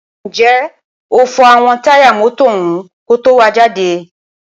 ǹjẹ́ o fọ àwọn táyà mọ́tọ̀ ọ̀hún ko tó wàá jáde?